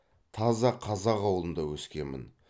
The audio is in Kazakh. таза қазақ ауылында өскенмін